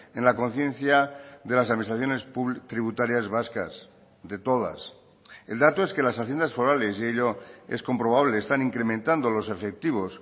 en la conciencia de las administraciones tributarias vascas de todas el dato es que las haciendas forales y ello es comprobable están incrementando los efectivos